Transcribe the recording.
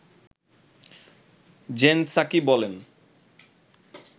gen Psaki বলেন